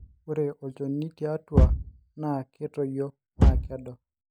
ore olchoni tiatua na ketoyio naa kedo